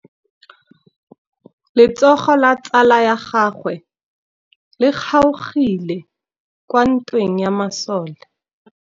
Letsôgô la tsala ya gagwe le kgaogile kwa ntweng ya masole.